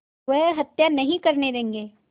वह हत्या नहीं करने देंगे